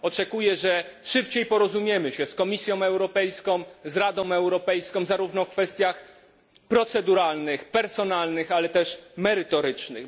Oczekuję, że szybciej porozumiemy się z Komisją Europejska i z Radą Europejską zarówno w kwestiach proceduralnych, personalnych, ale też merytorycznych.